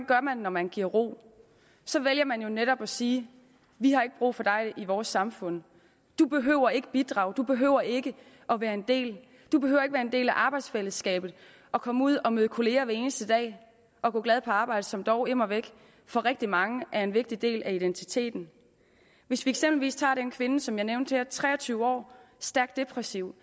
gør man når man giver ro så vælger man jo netop at sige vi har ikke brug for dig i vores samfund du behøver ikke bidrage du behøver ikke at være en del du behøver ikke være en del af arbejdsfællesskabet og komme ud og møde kolleger hver eneste dag og gå glad på arbejde som dog immer væk for rigtig mange er en vigtig del af identiteten hvis vi eksempelvis tager den kvinde som jeg nævnte her tre og tyve år stærkt depressiv